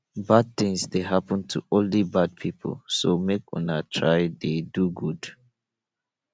bad things dey happen to only bad people so make we try to dey do good